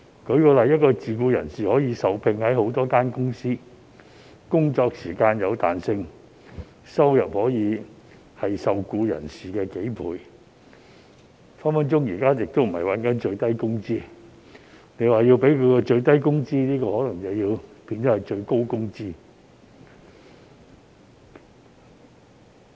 舉例來說，一名自僱人士可以受聘於多間公司，工作時間有彈性，收入可以是受僱人士的數倍，隨時並非賺取最低工資，為他提供最低工資，卻可能會變成最高工資。